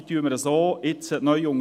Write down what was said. Diese unterstützen wir so jetzt neu.